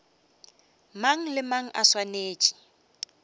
mang le mang o swanetše